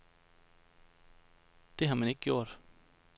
Det har man ikke gjort.